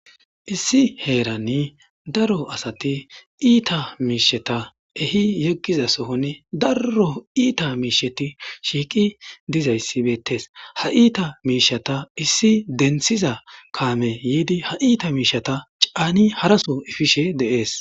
Issi heeranni daro asati iita miishata ehi yeggiza sohoni darro iita miisheti shiiqi dizayssi beettes ha iita miishata issi denthiza kaame yiidi ha iita miishata caani haraso ifishe deees